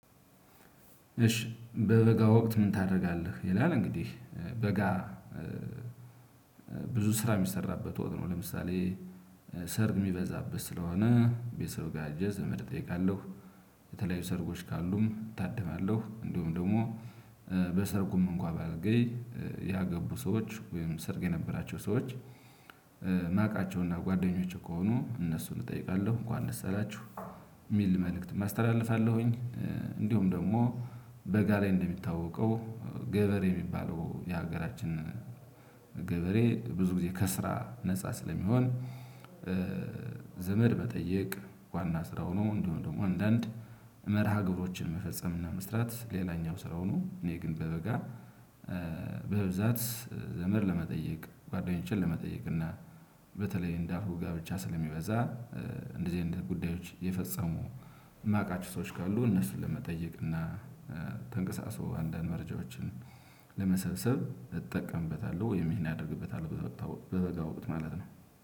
እሺ በበጋ ወቅት ምን ታደርጋለህ? ይላል እንግዲህ በጋ ብዙ ስራ የሚሰራበት ወቅት ነው። ለምሳሌ ሰርግ የሚበዛበት ስለሆነ ቤተሰብ ጋር ሄጄ ዘመድ እጠይቃለሁ። የተለያዩ ሰርጎች ካሉም እታድማለሁ እንደውም ደግሞ በሰርጉም እንኳን ባልገኝ ያገቡ ሰዎች ወይም ሰርግ የነበራቸው ሰዎች ማቃቸውና ጓደኞቼ ከሆኑ እነሱን እጠይቃለሁ እንኳን ደስ አላችሁ የሚል መልእክት አስተላልፋለሁኝ። እንዲሁም ደግሞ በጋ ላይ እንደሚታወቀው ገበሬ የሚባለው የሀገራችን ገበሬ ብዙ ጊዜ ከስራ ነፃ ስለሚሆን። ዘመድ መጠየቅ ዋና ስራው ነው። እንደው ደግሞ አንዳንድ መርሃ ግብሮችን መፈጸም እና መስራት ሌላኛው ስራው ነው። እኔ ግን በበጋ በብዛት ዘመድ ለመጠየቅ ጓደኞችን ለመጠየቅ እና በተለይ እንደ አልኩህ ጋብቻ ስለሚበዛ እንደዚህ አይነት ጉዳዮች የፈጸሙ የማውቃቸው ሰዎች ካሉ እነሱን ለመጠየቅ እና ተንቀሳሶ አንዳንድ መረጃዎችን ለመሰብሰብ እጠቀምበታለሁ። ወይም ይሄን አደርግበታለሁ። በበጋ ወጥቶ ማለት ነው።